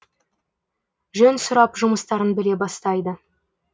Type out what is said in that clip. жөн сұрап жұмыстарын біле бастайды